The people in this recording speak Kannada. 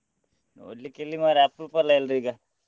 ನೋಡ್ಲಿಕ್ಕೆ ಎಲ್ಲಿ ಮಾರ್ರೆ ಅಪ್ರೂಪ ಅಲ್ಲ ಎಲ್ರು ಈಗ.